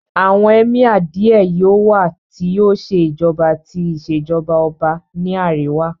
Àwọn Emir Díẹ̀ yóò wá tí yóò ṣe ìjọba ti Ìṣèjọ́ba ọba ní àríwá